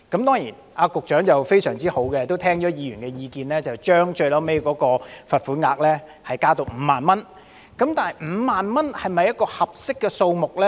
當然，局長非常好，聽取了議員的意見，最後將罰款額提高至5萬元，但5萬元是否一個合適的數目呢？